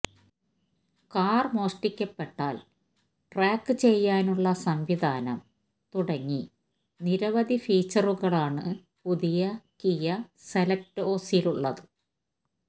കാര് മോഷ്ടിക്കപ്പെട്ടാല് ട്രാക്ക് ചെയ്യാനുള്ള സംവിധാനം തുടങ്ങി നിരവധി ഫീച്ചറുകളാണ് പുതിയ കിയ സെല്റ്റോസിലുള്ളത്